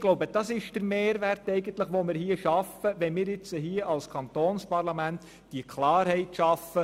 Ich glaube, das ist der Mehrwert, den wir mit diesem neuen Gesetz schaffen.